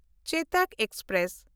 ᱪᱮᱛᱚᱠ express